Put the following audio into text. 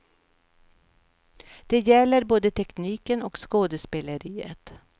Det gäller både tekniken och skådespeleriet.